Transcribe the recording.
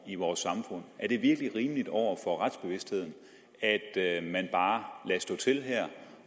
i vores samfund er det virkelig rimeligt over for retsbevidstheden at at man bare lader stå til her